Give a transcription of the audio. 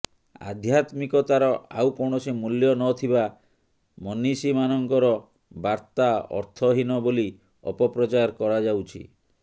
ଆଧ୍ୟାତ୍ମିକତାର ଆଉ କୌଣସି ମୂଲ୍ୟ ନ ଥିବା ମନୀଷୀମାନଙ୍କର ବାର୍ତ୍ତା ଅର୍ଥହୀନ ବୋଲି ଅପପ୍ରଚାର କରାଯାଉଛି